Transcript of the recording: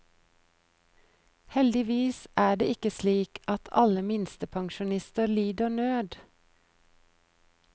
Heldigvis er det ikke slik at alle minstepensjonister lider nød.